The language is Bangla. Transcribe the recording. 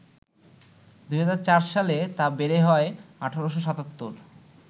২০০৪ সালে তা বেড়ে হয় ১৮৭৭